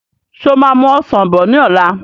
Ṣé o máa mú Ọsàn bọ̀ ni ọ̀la?